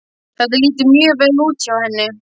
Þetta lítur mjög vel út hjá henni.